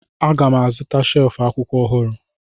Aga m azụta shelf akwụkwọ ọhụrụ